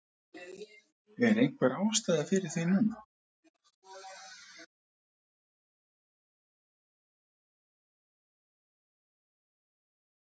Er einhver ástæða fyrir því núna?